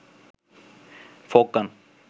folk গান